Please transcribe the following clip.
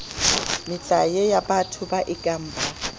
metlae yabatho ba ekang ba